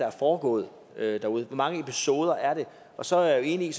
er foregået derude hvor mange episoder er det og så er jeg enig i